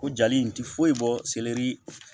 O jali in tɛ foyi bɔ selɛri